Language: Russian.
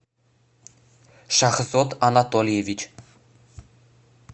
шахзод анатольевич